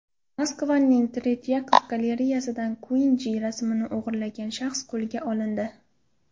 Moskvaning Tretyakov galereyasidan Kuinji rasmini o‘g‘irlagan shaxs qo‘lga olindi.